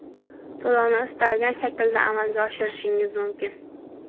To‘lovni istalgan shaklda amalga oshirishingiz mumkin.